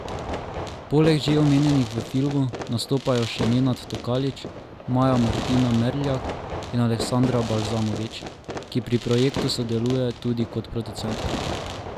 Poleg že omenjenih v filmu nastopajo še Nenad Tokalič, Maja Martina Merljak in Aleksandra Balmazović, ki pri projektu sodeluje tudi kot producentka.